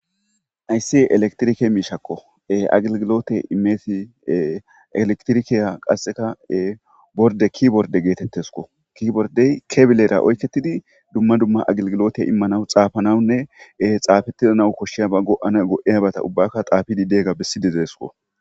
Haysi electric mishako agigilote imesi electric borde keyboard getetes keyboard kebelera oyketidi duma duma agiligilote imanawnne xafanaw xafetana koshiyaba go'anaw go'iyaba ubaka xafidi diyaga besidi desiko